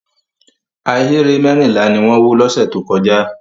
Ahéré mẹ́rìnlá ni wọ́n wó lọ́sẹ̀ tó kọjá.